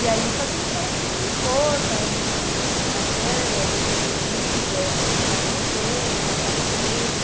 E aí o Fazendo História foi ganhando corpo, aí a gente fez uma publicação, aí a gente fez um vídeo, aí a gente está crescendo, está aparecendo.